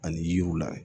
Ani yiriw la